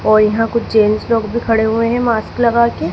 और यहां कुछ जेंट्स लोग भी खड़े हुए हैं मास्क लगाके--